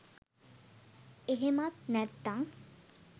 එහෙමත් නැත්තම්